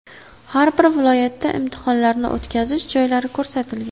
Har bir viloyatda imtihonlarni o‘tkazish joylari ko‘rsatilgan.